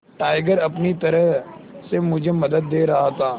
tiger अपनी तरह से मुझे मदद दे रहा था